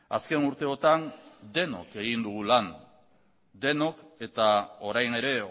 azken urteotan denok egin dugu lan eta orain ere